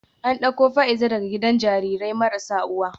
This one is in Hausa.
An dauko Fa’iza daga gidan jarirai marasa uwa